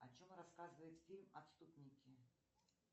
о чем рассказывает фильм отступники